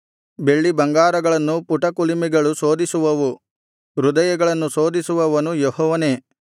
ಬೆಳ್ಳಿಬಂಗಾರಗಳನ್ನು ಪುಟಕುಲಿಮೆಗಳು ಶೋಧಿಸುವವು ಹೃದಯಗಳನ್ನು ಶೋಧಿಸುವವನು ಯೆಹೋವನೇ